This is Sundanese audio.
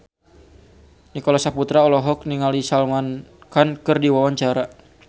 Nicholas Saputra olohok ningali Salman Khan keur diwawancara